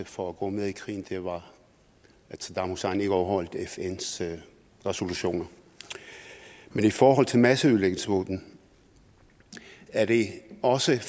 for at gå med i krigen at saddam hussein ikke overholdt fns resolutioner men i forhold til masseødelæggelsesvåben er det også